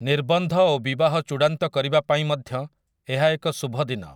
ନିର୍ବନ୍ଧ ଓ ବିବାହ ଚୂଡ଼ାନ୍ତ କରିବା ପାଇଁ ମଧ୍ୟ ଏହା ଏକ ଶୁଭ ଦିନ ।